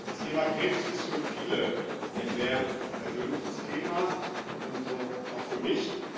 Das Thema Krebs ist für viele ein sehr persönliches Thema, und so auch für mich.